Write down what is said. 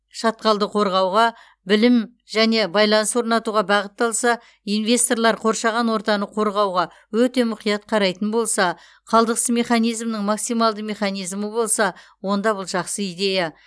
шатқалды қорғауға білім және байланыс орнатуға бағытталса инвесторлар қоршаған ортаны қорғауға өте мұқият қарайтын болса қалдықсыз механизмнің максималды механизмі болса онда бұл жақсы идея